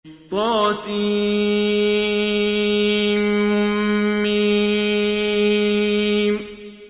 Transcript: طسم